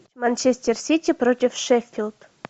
манчестер сити против шеффилд